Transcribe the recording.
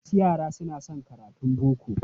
Wasu yara suna son karatun boko.